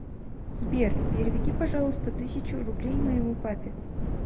сбер переведи пожалуйста тысячу рублей моему папе